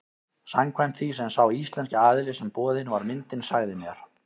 Samkvæmt því sem sá íslenski aðili sem boðin var myndin sagði mér.